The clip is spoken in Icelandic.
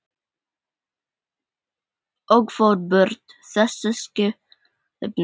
Og fór burt, þessi skepna.